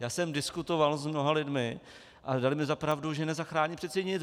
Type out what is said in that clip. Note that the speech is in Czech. Já jsem diskutoval s mnoha lidmi a dali mi za pravdu, že nezachrání přece nic.